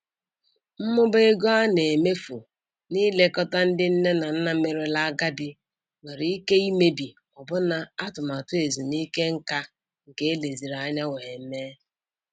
Mmụba ego a na-emefu na-ilekọta ndị nne na nna merela agadi nwere ike imebi ọbụna atụmatụ ezumike nka nke eleziri anya wee mee.